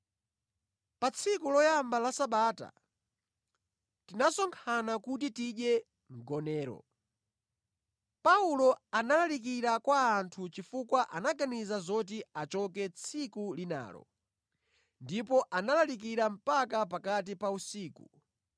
Pa tsiku loyamba la Sabata, tinasonkhana kuti tidye mgonero. Paulo analalikira kwa anthu chifukwa anaganiza zoti achoke tsiku linalo, ndipo analalika mpaka pakati pa usiku.